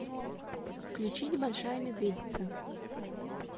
включить большая медведица